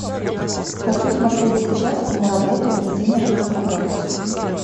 хочу смотреть сейчас киноработу единожды солгав